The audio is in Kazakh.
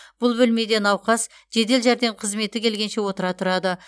бұл бөлмеде науқас жедел жәрдем қызметі келгенше отыра тұрады